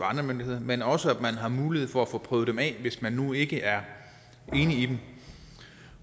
myndigheder men også at man har mulighed for at få prøvet dem af hvis man nu ikke er enig i dem